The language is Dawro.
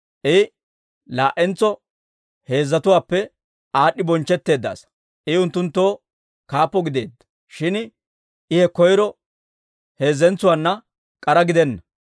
I laa"entso heezatuwaappe aad'd'i bonchchetteedda asaa; I unttunttoo kaappo gideedda. Shin I he koyro heezzatuwaana k'ara gidena.